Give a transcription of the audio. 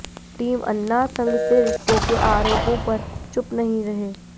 team Anna Sangh से रिश्तों के आरोपों पर चुप नहीं रही